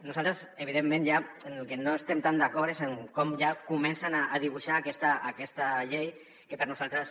nosaltres evidentment en el que no estem tan d’acord és en com ja comencen a dibuixar aquesta llei que per nosaltres